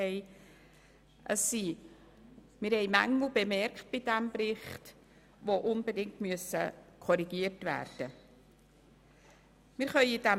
Wir haben bei diesem Bericht Mängel erkannt, die unbedingt korrigiert werden müssen.